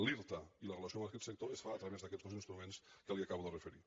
l’irta i la relació amb aquest sector es fa a través d’aquests dos instruments que li acabo de referir